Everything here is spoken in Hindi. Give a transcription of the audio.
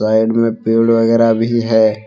साइड में पेड़ वगैरा भी है।